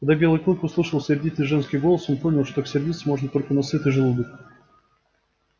и когда белый клык услышал сердитый женский голос он понял что так сердиться можно только на сытый желудок